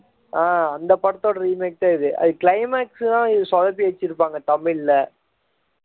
ஆஹ் அந்த படத்தோட remake தான் இது climax தான் சொதப்பி வச்சிருப்பாங்க தமிழ்ல